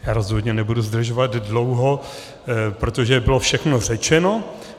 Já rozhodně nebudu zdržovat dlouho, protože bylo všechno řečeno.